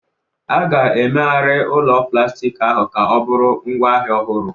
A ga-emegharị ụlọ plastik ahụ ka ọ bụrụ ngwaahịa ọhụrụ.